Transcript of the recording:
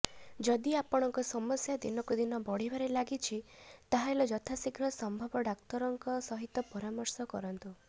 ଯଦି ଆପଣଙ୍କ ସମସ୍ୟା ଦିନକୁ ଦିନ ବଢ଼ିବାରେ ଲାଗିଛି ତାହେଲେ ଯଥାଶୀଘ୍ର ସମ୍ଭବ ଡାକ୍ତରଙ୍କ ସହିତ ପରାମର୍ଶ କରନ୍ତୁ